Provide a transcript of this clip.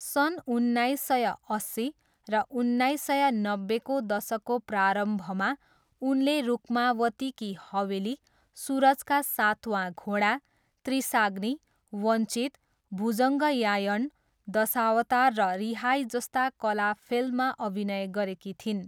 सन् उन्नाइस सय अस्सी र उन्नाइस सय नब्बेको दशकको प्रारम्भमा उनले रुक्मावती की हवेली, सुरज का सातवां घोडा, त्रिशाग्नी, वञ्चित, भुजङ्गयायण दशावतार र रिहाई जस्ता कला फिल्ममा अभिनय गरेकी थिइन्।